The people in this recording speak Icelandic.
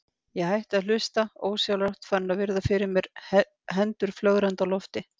Ég hætti að hlusta, ósjálfrátt farin að virða fyrir mér hendur flögrandi á lofti.